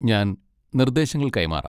ഞാൻ നിർദ്ദേശങ്ങൾ കൈമാറാം.